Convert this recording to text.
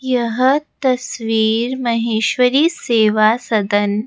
यह तस्वीर महेश्वरी सेवा सदन--